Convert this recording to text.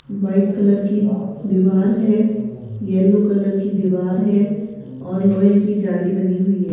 White colour की दीवार है येलो कलर की दीवार है और लोहे की जाली बनी हुई है।